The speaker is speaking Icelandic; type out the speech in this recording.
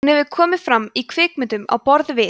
hún hefur komið fram í kvikmyndum á borð við